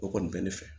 O kɔni bɛ ne fɛ